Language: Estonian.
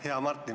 Hea Martin!